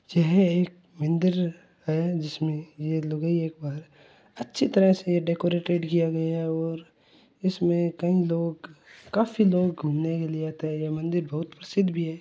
यह एक मंदिर है जिसमें यह लुगाई एक बार अच्छी तरह से डेकोरेटेड किया गया है और इसमें कई लोग काफ़ी लोग घूमने के लिए आते है ये मंदिर बहुत प्रसिद्ध भी है।